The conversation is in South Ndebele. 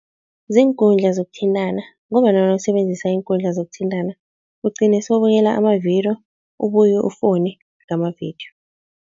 Ziinkundla zokuthintana ngombana nawusebenzisa iinkundla zokuthintana, ugcine sewubukela amavidiyo ubuye ufowune ngamavidiyo.